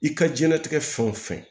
I ka diɲɛnatigɛ fɛn o fɛn